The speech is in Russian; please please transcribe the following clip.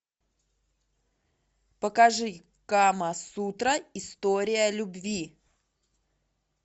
покажи кама сутра история любви